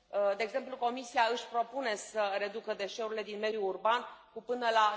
De exemplu, Comisia își propune să reducă deșeurile din mediul urban cu până la